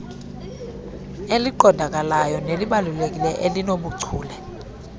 eliqondakalayo nelibalulekileyo obunobuchule